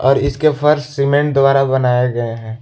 और इसके फर्श सीमेंट द्वारा बनाए गए हैं।